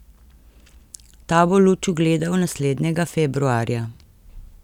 Ta bo luč ugledal naslednjega februarja.